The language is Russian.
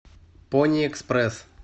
пони экспресс